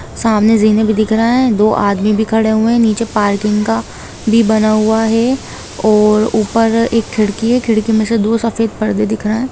सामने से जिमें भी दिख रहा हैदो आदमी भी खड़े हुए है पार्किंग का भी बन हुआ हैऔर ऊपर एक खिड़की है खिड़की में से दो सफेद पर्दे दिख रहे है।